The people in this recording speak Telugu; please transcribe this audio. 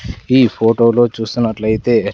ఈ ఫోటోలో చూస్తున్నట్లయితే--